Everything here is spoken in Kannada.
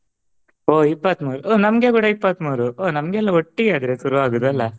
ಓಹ್ ಇಪ್ಪತ್ಮೂರು ಓಹ್ ನಮ್ಗೆ ಕೂಡ ಇಪ್ಪತ್ಮೂರು ಓಹ್ ನಮಗೆಲ್ಲ ಒಟ್ಟಿಗೆ ಹಾಗಾದ್ರೆ ಶುರು ಆಗುದು ಅಲ್ಲಾ.